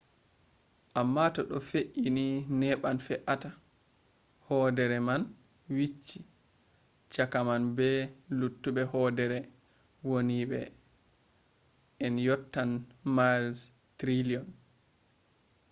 amma to ɗo fe’i ni neɓan fe’ata. hoodere man wicci. chaka man be luttuɓe hoodere wondiiɓe” en yottan mails triliyon